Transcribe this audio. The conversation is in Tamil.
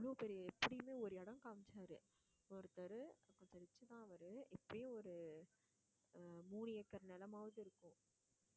அவ்வளவு பெரிய ஒரு இடம் காமிச்சாரு ஒருத்தரு அத வச்சு தான் அவரு எப்படியும் ஒரு ஒரு மூணு acre நிலமாவது இருக்கும்